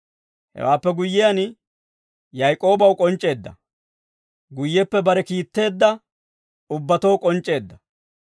Hewaappe guyyiyaan, Yaak'oobaw k'onc'c'eedda; guyyeppe bare kiitteedda ubbatoo k'onc'c'eedda.